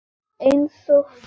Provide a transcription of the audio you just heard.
Einsog flagð.